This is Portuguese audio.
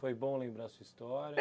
Foi bom lembrar a sua história?